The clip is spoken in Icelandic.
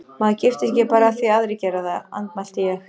Maður giftist ekki bara af því að aðrir gera það, andmælti ég.